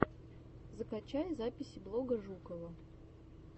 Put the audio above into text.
закачай записи блога жукова